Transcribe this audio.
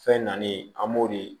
Fɛn nali an b'o de